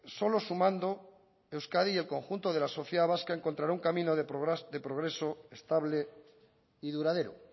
solo sumando euskadi y el conjunto de la sociedad vasca encontrará un camino de progreso estable y duradero